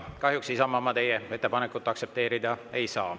Kahjuks, Isamaa, ma teie ettepanekut aktsepteerida ei saa.